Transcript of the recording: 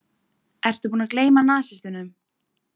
Ertu búinn að gleyma nasistunum?